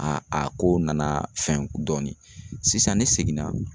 A a ko nana fɛn dɔɔnin sisan ne seginna